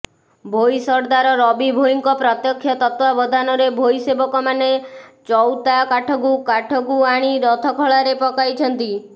ଭୋଇ ସର୍ଦ୍ଦାର ରବି ଭୋଇଙ୍କ ପ୍ରତ୍ୟକ୍ଷ ତତ୍ତ୍ବାବଧାନରେ ଭୋଇ ସେବକମାନେ ଚଉତା କାଠକୁ କାଠକୁ ଆଣି ରଥଖଳାରେ ପକାଇଛନ୍ତି